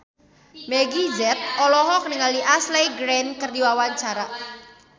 Meggie Z olohok ningali Ashley Greene keur diwawancara